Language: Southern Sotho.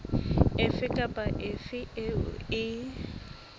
efe kapa efe eo e